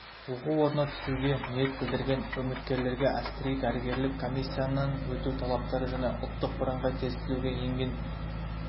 оқу орнына түсуге ниет білдірген үміткерлерге әскери-дәрігерлік комиссиясынан өту талаптары және ұлттық бірыңғай тестілеуге еңген